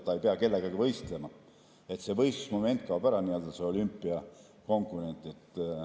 Ta ei pea kellegagi võistlema, see võistlusmoment kaob ära, see nii‑öelda olümpiakomponent.